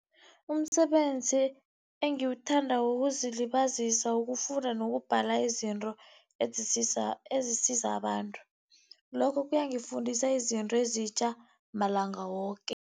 Umsebenzi engiwuthandako wokuzilibazisa ukufunda nokubhala izinto ezisiza abantu. Lokho kuyangifundisa izinto ezitjha malanga woke.